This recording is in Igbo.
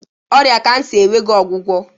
Ọrịa cancer enweghị ọgwụgwọ